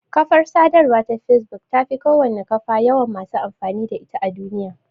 Kafar sadarwa ta facebook tafi kowane kafa yawan masu amfani da ita a duniya.